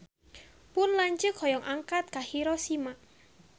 Pun lanceuk hoyong angkat ka Hiroshima